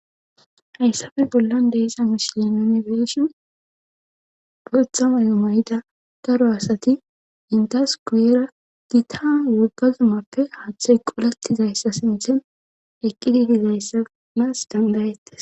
Hayssafe bollan deesa mishilemene beeshi bothamayu mayida garo asati indas quuyera dita woggazumappe haaththay qolettizayssa sinthen eqqi didizayssanaas dandayettes.